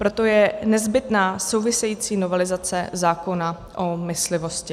Proto je nezbytná související novelizace zákona o myslivosti.